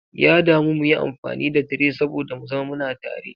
Ya damu muyi amfani da tray saboda mu zama muna tare.